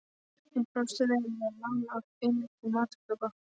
Hún brást vel við og lánaði okkur peninga til matarkaupa.